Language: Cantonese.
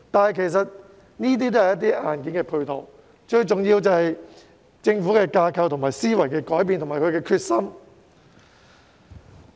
然而，這些都只是硬件配套，最重要是政府的架構、思維有所改變，以及下定決心。